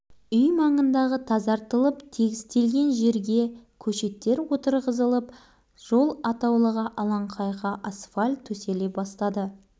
жаңа үй тұрғындарының балалар жағы жұмыс тез бітсе ойнайтын жер кеңісе екен деп асыққан еді оған болмады